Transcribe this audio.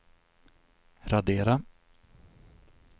radera